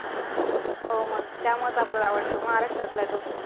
हो मंग! त्यामुळेच आपल्याला आवडतो महाराष्ट्रातला आहे तो.